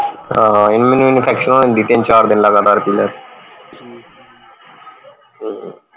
ਹਾਂ ਮੈਨੂੰ infection ਹੋ ਜਾਂਦੀ ਤਿੰਨ ਚਾਰ ਦਿਨ ਲਗਾਤਾਰ ਪੀ ਲੈ ਹਮ